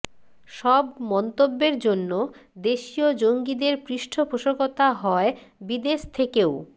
সব মন্তব্যের জন্য দেশীয় জঙ্গিদের পৃষ্ঠপোষকতা হয় বিদেশ থেকেও